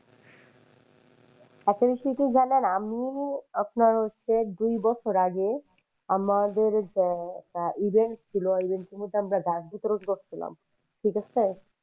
কি জানেন আমি আপনার হচ্ছে দুই বছর আগে আমাদের event ছিল event এর মধ্যে আমরা গাছ বিতরণ করছিলাম ঠিক আছে।